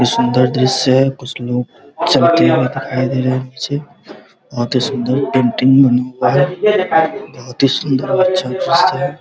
कुछ सुन्दर दृश्य है कुछ लोग चोटिया पे दिखाई दे रहे है बहुत ही सुन्दर पेंटिंग बनी हुई है बहुत ही सुंदर अच्छा दृश्य है |